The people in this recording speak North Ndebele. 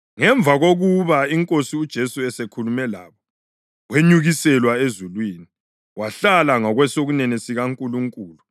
Ngemva kokuba iNkosi uJesu esekhulume labo, wenyukiselwa ezulwini, wahlala ngakwesokunene sikaNkulunkulu.